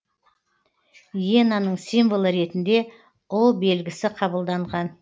иенаның символы ретінде белгісі қабылданған